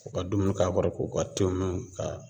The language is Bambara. U ka dumuni k'a kɔrɔ k'u ka te min ka